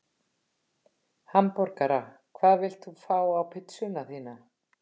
Hamborgara Hvað vilt þú fá á pizzuna þína?